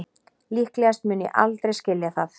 Líklegast mun ég aldrei skilja það